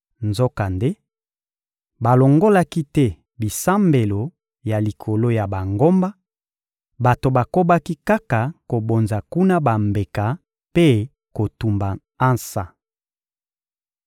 Nzokande, balongolaki te bisambelo ya likolo ya bangomba; bato bakobaki kaka kobonza kuna bambeka mpe kotumba ansa.